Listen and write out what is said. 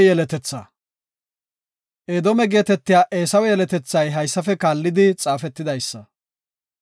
Edoome geetetiya Eesawe yeletethay haysafe kaallidi xaafetidaysa;